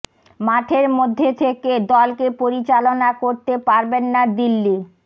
মাঠের মধ্যে থেকে দলকে পরিচালনা করতে পারবেন না দিল্লি